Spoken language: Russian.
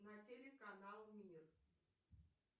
на телеканал мир